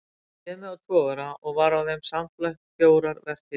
Ég réð mig á togara og var á þeim samfleytt fjórar vertíðir.